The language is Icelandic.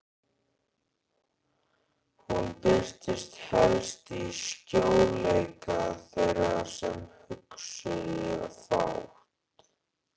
Hún birtist helst í sljóleika þeirra sem hugsuðu fátt.